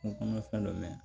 N kɔnɔ fɛn dɔ mɛn